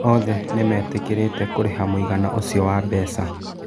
Othe nĩmetĩkĩrĩte kũriha mũigana ũcĩo wa mbeca.